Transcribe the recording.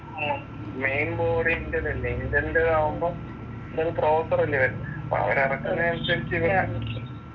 ഉം main board Intel അല്ലേ. ഇൻ്റെലിൻ്റെതാവുമ്പോ ഇൻ്റെൽ പ്രോസസ്സർ അല്ലേ വരുന്നേ. അപ്പോൾ അവരിറക്കുന്ന അനുസരിച്ചു